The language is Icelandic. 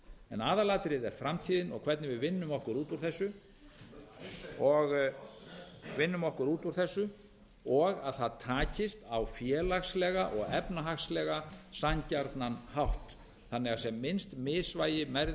en aðalatriðið er framtíðin og hvernig við vinnum okkur út úr þessu og að það takist á félagslega og efnahagslega sanngjarnan hátt þannig að sem minnst misvægi verði bili